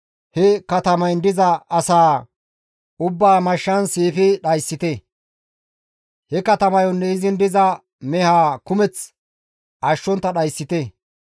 he katamayn diza asaa ubbaa mashshan siifi dhayssite; he katamayonne izin diza mehaa kumeth ashshontta dhayssite.